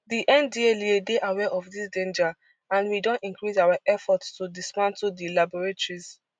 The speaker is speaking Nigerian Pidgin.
di ndlea dey aware of dis danger and we don increase our efforts to dismantle di laboratories